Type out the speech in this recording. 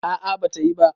a a bata yi ba